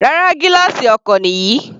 Rárá, gílààsì ọkọ̀ nìyí.